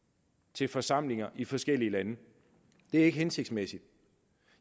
til forsamlinger i forskellige lande det er ikke hensigtsmæssigt